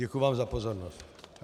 Děkuji vám za pozornost.